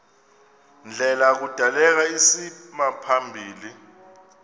ndlela kudaleka isimaphambili